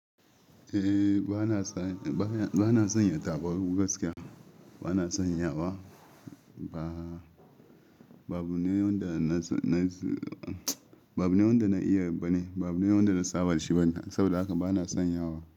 Eh bana san yata ba abu gaskiya bana sanya wa ba. Ba abu ne yanda na, ba abu ne yanda na iya bane, ba abu ne yanda na saba da shi bane saboda haka bana sanya wa.